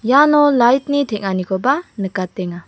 iano lait ni teng·anikoba nikatenga.